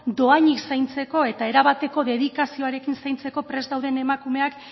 dohainik zaintzeko eta erabateko dedikazioarekin zaintzeko prest dauden emakumeak